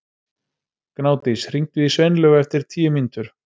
Gnádís, hringdu í Sveinlaugu eftir tíu mínútur.